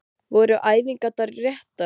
Voru æfingarnar réttar?